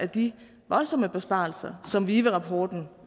de voldsomme besparelser som vive rapporten